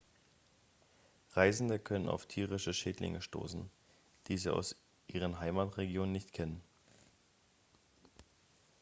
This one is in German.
reisende können auf tierische schädlinge stoßen die sie aus ihren heimatregionen nicht kennen